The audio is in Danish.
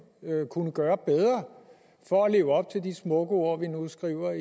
kunne gøre bedre for at leve op til de smukke ord vi nu skriver